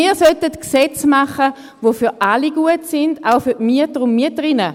Wir sollten Gesetze machen, die für alle gut sind, auch für die Mieter und Mieterinnen.